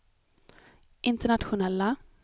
internationella